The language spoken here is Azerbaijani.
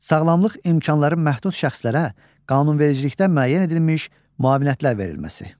Sağlamlıq imkanları məhdud şəxslərə qanunvericiliklə müəyyən edilmiş müavinətlər verilməsi.